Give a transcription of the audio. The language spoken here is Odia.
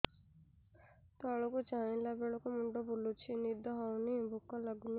ତଳକୁ ଚାହିଁଲା ବେଳକୁ ମୁଣ୍ଡ ବୁଲୁଚି ନିଦ ହଉନି ଭୁକ ଲାଗୁନି